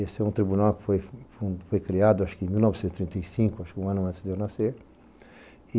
Esse é um tribunal que foi criado em mil novecentos e trinta e cinco, um ano antes de eu nascer.